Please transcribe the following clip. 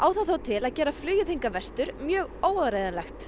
það þó til að gera flugið hingað vestur mjög óáreiðanlegt